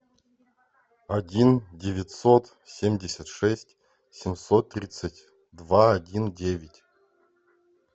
один девятьсот семьдесят шесть семьсот тридцать два один девять